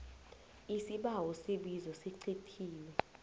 isibawo isibizo sicithiwe